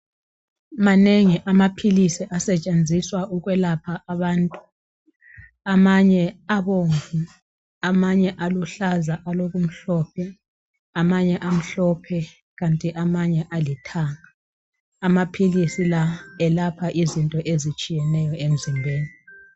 Manengi amaphilisi asetshenziswa ukwelapha abantu. Amanye abomvu amanye aluhlaza alokumhlophe amanye amhlophe kanti amanye alithanga amaphilisi la elapha izinto ezitshiyeneyo emzimbeni.